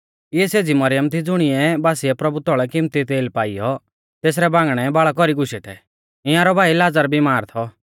इऐ सेज़ी मरियम थी ज़ुणिऐ बासीऐ प्रभु तौल़ै किमती तेल पाईयौ तेसरै बांगणै आपणै बाल़ा कौरी गुशै थै इंयारौ भाई लाज़र बिमार थौ